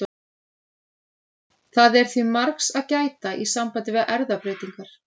Það er því margs að gæta í sambandi við erfðabreytingar.